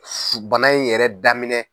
Su bana in yɛrɛ daminɛ.